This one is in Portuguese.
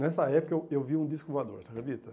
Nessa época, eu eu vi um disco voador, você acredita?